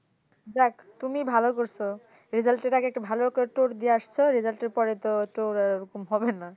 যাক তুমি ভালো করছো result এর আগে একটা ভালো করে tour দিয়ে আসছো result এর পরেতো tour আর এরকম হবে না